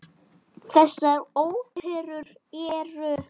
Þessar óperur eru